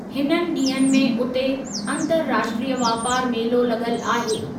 हिननि ॾींहनि में उते अंतर्राष्ट्रीय वापार मेलो लॻलु आहे।